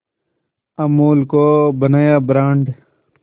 अमूल को बनाया ब्रांड